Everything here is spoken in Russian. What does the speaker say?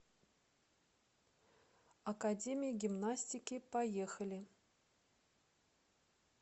академия гимнастики поехали